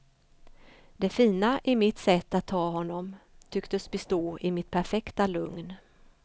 Det fina i mitt sätt att ta honom tycktes bestå i mitt perfekta lugn.